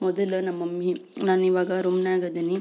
ಮೊದಲು ನಮ್ಮ ಮಮ್ಮಿ ನಾನು ಇವಗೆ ರೂಮ್ನಗ ಇದೀನಿ.